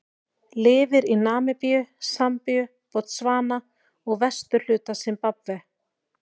Lifir í Namibíu, Sambíu, Botsvana og vesturhluta Simbabve.